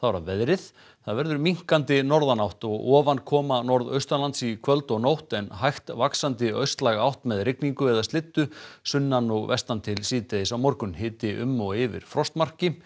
að veðri það verður minnkandi norðanátt og ofankoma norðaustanlands í kvöld og nótt en hægt vaxandi austlæg átt með rigningu eða slyddu sunnan og vestan til síðdegis á morgun hiti um og yfir frostmarki